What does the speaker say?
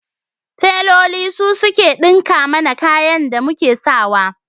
Teloli su suke ɗinka mana kayan da muk sa wa.